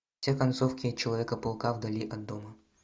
все концовки человека паука вдали от дома